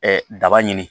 daba ɲini